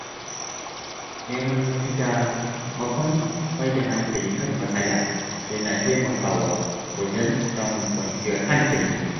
Neman mafita maimakon mai da hankali kan matsala yana taimakawa wajen samun kwanciyar hankali.